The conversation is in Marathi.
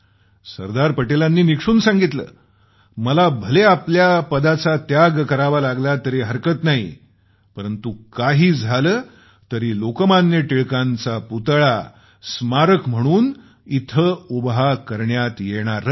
सरदार पटेलांनी निक्षून सांगितलं मला आपल्या पदाचा त्याग करावा लागेल तरी हरकत नाही परंतु काही झालं तरी लोकमान्य टिळकांचा पुतळा स्मारक म्हणून इथं उभा करण्यात येणारच